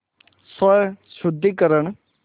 स्वशुद्धिकरण